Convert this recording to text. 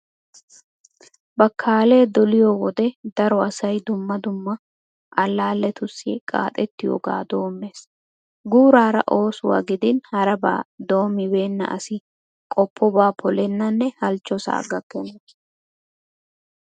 Bakkaalee doliyo wode daro asay dumma dumma allaalletussi qaaxerettiyogaa doommees. Guuraara oosuwa gidin harabaa doommibeenna asi qoppobaa polennanne halchchosaa gakkenna.